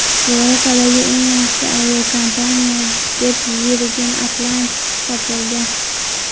Yevropadagi eng yaxshi aviakompaniya deb Virgin Atlantic topilgan.